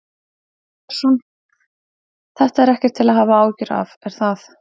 Arnar Björnsson: Þetta er ekkert til að hafa áhyggjur af, er það?